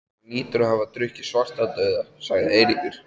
Hann hlýtur að hafa drukkið Svartadauða, sagði Eiríkur.